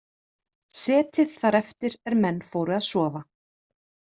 Setið þar eftir er menn fóru að sofa.